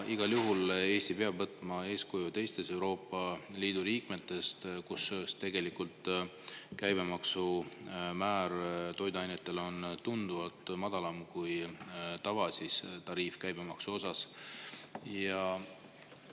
Igal juhul Eesti peab võtma eeskuju teistest Euroopa Liidu riikidest, kus käibemaksumäär on toiduainetel tunduvalt madalam kui käibemaksu tavatariif.